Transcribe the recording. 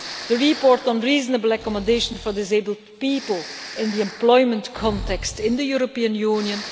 through the report on reasonable accommodation for disabled people in the employment context in the European Union